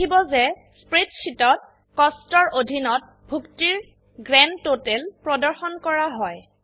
দেখিব যে স্প্ৰেডশিটত কষ্টছ এৰ অধীনত ভুক্তিৰ গ্ৰান্ডটোটাল প্ৰদৰ্শন কৰা হয়